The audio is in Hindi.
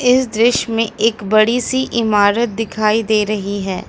इस दृश्य में एक बड़ी सी इमारत दिखाई दे रही है।